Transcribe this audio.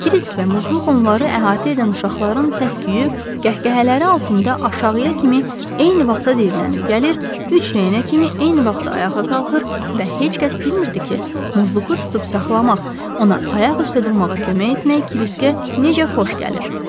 Kirisk və Muzluku onları əhatə edən uşaqların səs-küyü, qəhqəhələri altında aşağıya kimi eyni vaxtda diyirlənib gəlir, üç dənəyə kimi eyni vaxtda ayağa qalxır və heç kəs bilmirdi ki, Muzluku tutub saxlamaq, ona ayaq üstə durmağa kömək etmək Kiriskə necə xoş gəlir.